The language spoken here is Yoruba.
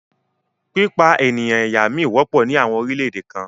Pípa ènìyàn ẹ̀yà mí wọ́pọ̀ ní àwọn orílẹ̀-èdè kan